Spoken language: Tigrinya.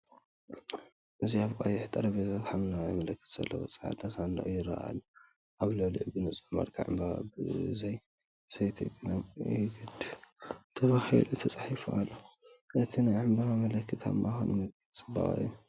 እዚ ኣብ ቀይሕ ጠረጴዛ፡ ሐምላይ ምልክት ዘለዎ ጻዕዳ ሳንዱቕ ይረአ ኣሎ። ኣብ ልዕሊኡ ብንጹር መልክዕ ‘ዕምባባ ብዘይ ዘይቲ ቀለም ይድግፍ’ ተባሂሉ ተጻሒፉ ኣሎ። እቲ ናይ ዕምባባ ምልክት ኣብ ማእከሉ ምልክት ጽባቐ እዩ።